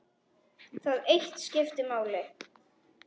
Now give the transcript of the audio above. Það eitt skipti máli.